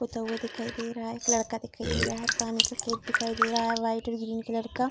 पुता हुआ दिखाई दे रहा है एक लड़का दिखाई दे रहा है पानी का केंट दिखाई दे रहा है व्हाइट और ग्रीन कलर का।